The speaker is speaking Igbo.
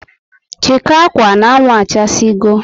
Chikoo akwa n' anwụ achasi go